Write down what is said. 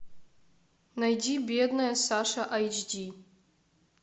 найди бедная саша айч ди